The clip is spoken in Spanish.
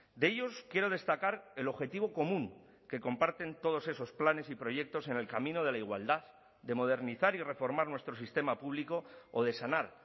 de ellos quiero destacar el objetivo común que comparten todos esos planes y proyectos en el camino de la igualdad de modernizar y reformar nuestro sistema público o de sanar